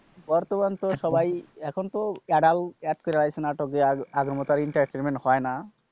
বর্তমানে তো সবাই এখনতো adult add কইরা লাইছে নাটকে। আর আগের মত আর entertainment হয় না।